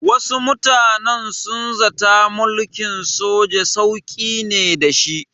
Wasu mutanen sun zata mulkin soja sauƙi ne da shi.